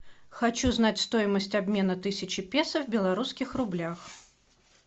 хочу знать стоимость обмена тысячи песо в белорусских рублях